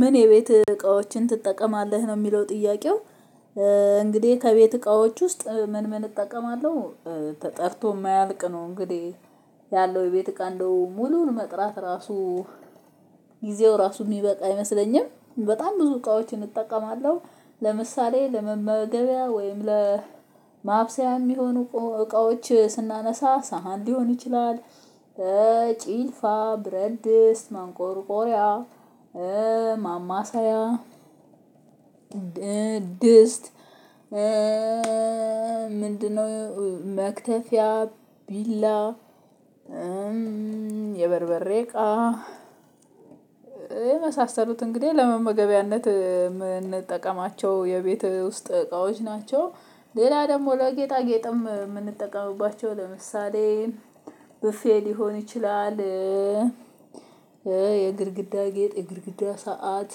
ምን የቤት እቃዎችን ትጠቀማለህ ነው የሚለው ጥያቄው? እንግዲህ ከቤት እቃዎች ውስጥ ምን ምን እጠቀማለሁ። ተጠርቶ የማያልቅ ነው እንግዲህ ያለው የቤት እቃ እንዴው ሙሉውን መጥራት ራሱ ጊዜው ራሱ የሚበቃ አይመስለኝም በጣም ብዙ እቃዎችን እጠቀማለሁ። ለምሳሌ ለመመገቢያ ወይም ለማብሰያ የሚሆኑ እቃዎች ስናነሳ ሳህን ሊሆን ይችላል። ጭልፋ ብረትድስት ማንቆርቆሪያ ማማሳያ ድስት ምንድነው መክተፊያ ቢላ የበርበሬ እቃ የመሳሰሉት እንግዲህ ለመመገቢያነት የምንጠቀማቸው የቤት ውስጥ እቃዎች ናቸው። ሌላ ደግሞ ለጌጣጌጥም የምንጠቀምባቸው ለምሳሌ ብፌ ሊሆን ይችላል። የግድግዳ ጌጥ የግድግዳ ሰዓት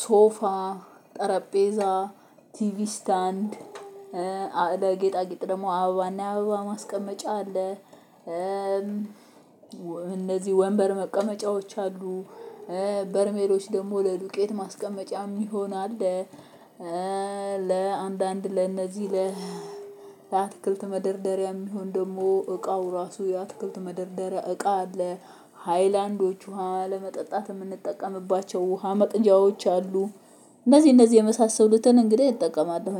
ሶፋ ጠረጴዛ ቲቪ ስታንድ ለጌጣጌጥ ደግሞ አበባና የአበባ ማስቀመጫ አለ። እነዚህ ወንበር መቀመጫዎች አሉ በርሜሎች ደግሞ ለዱቄት ማስቀመጫ የሚሆን አለ። ለአንዳንድ ለእነዚህ ለአትክልት መደርደሪያ የሚሆን ደግሞ እቃው ራሱ የአትክልት መደርደሪያ እቃ አለ። ሃይላንዶች ውሃ ለመጠጣት የምንጠቀምባቸው ውሃ መቅጃዎች አሉ። እነዚህ እነዚህ የመሳሰሉትን እንግዲህ እጠቀማለሁ።